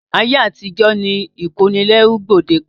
Ayé àtijó ni ìkónilẹ́rú gbòdekàn.